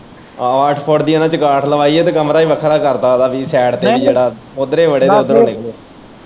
ਆਹੋ ਅੱਠ ਫੁੱਟ ਦੀ ਇਨਾਂ ਨੇ ਚੰਗਾਂਠ ਲਵਾਈ ਤੇ ਕਮਰਾ ਵੀ ਵੱਖਰਾ ਇਦਾ ਪੀ ਜੇੜਾ ਉੱਧਰੋਂ ਬੜੇ ਉੱਧਰੋਂ ਨਿਕਲੇ।